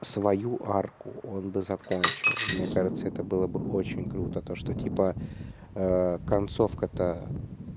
свою арку он бы закончил мне кажется это было бы очень круто то что типа концовка то